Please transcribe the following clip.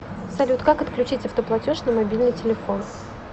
салют как отключить автоплатеж на мобильный телефон